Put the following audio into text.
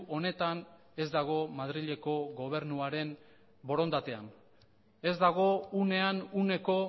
honetan ez dago madrileko gobernuaren borondatean ez dago unean uneko